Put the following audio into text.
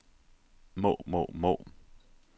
må må må